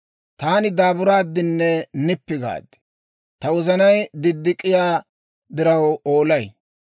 Taani daaburaaddinne nippi gaad; ta wozanay diddik'iyaa diraw oolay.